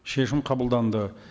шешім қабылданды